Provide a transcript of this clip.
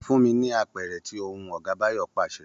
Fún mi ní apẹ̀rẹ̀ tí o hun!, Ọ̀gá Báyọ̀ pàṣẹ